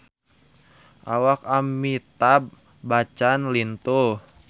Awak Amitabh Bachchan lintuh